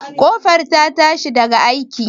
Ƙofar ta tashi daga aiki?